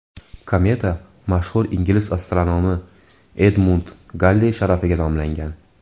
Kometa mashhur ingliz astronomi Edmund Galley sharafiga nomlangan.